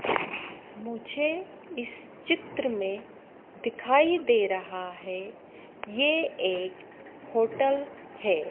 मुझे इस चित्र में दिखाई दे रहा है ये एक होटल है।